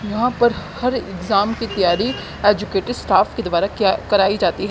यहाँ पर हर एग्जाम की तैयारी एजुकेटेड स्टाफ के द्वारा क्या कराई जाती हैं।